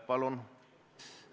Palun!